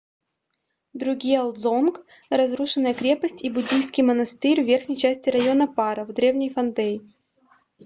другьел-дзонг — разрушенная крепость и буддийский монастырь в верхней части района паро в деревне фондей